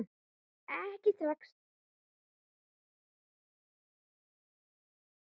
Ekki strax